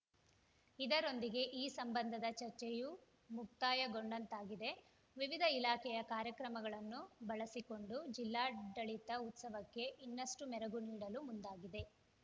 ಇದರೊಂದಿಗೆ ಈ ಸಂಬಂಧದ ಚರ್ಚೆಯೂ ಮುಕ್ತಾಯಗೊಂಡಂತಾಗಿದೆ ವಿವಿಧ ಇಲಾಖೆಯ ಕಾರ್ಯಕ್ರಮಗಳನ್ನು ಬಳಸಿಕೊಂಡು ಜಿಲ್ಲಾಡಳಿತ ಉತ್ಸವಕ್ಕೆ ಇನ್ನಷ್ಟುಮೆರಗು ನೀಡಲು ಮುಂದಾಗಿದೆ